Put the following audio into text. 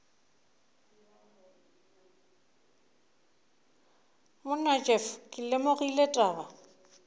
monna jeff ke lemogile taba